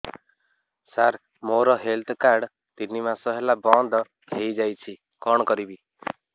ସାର ମୋର health card ତିନି ମାସ ହେଲା ବନ୍ଦ ହେଇଯାଇଛି କଣ କରିବି